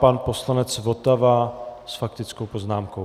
Pan poslanec Votava s faktickou poznámkou.